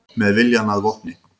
Með viljann að vopni